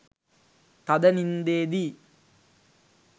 තද නින්දේ දී